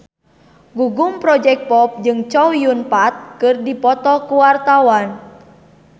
Gugum Project Pop jeung Chow Yun Fat keur dipoto ku wartawan